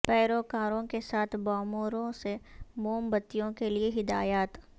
پیروکاروں کے ساتھ باموروں سے موم بتیوں کے لئے ہدایات